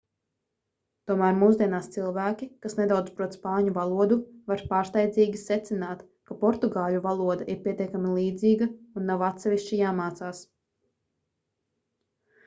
tomēr mūsdienās cilvēki kas nedaudz prot spāņu valodu var pārsteidzīgi secināt ka portugāļu valoda ir pietiekami līdzīga un nav atsevišķi jāmācās